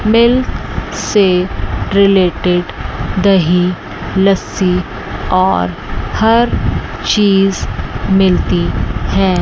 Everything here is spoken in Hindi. मिल्क से रिलेटेड दही लस्सी और हर चीज मिलती है।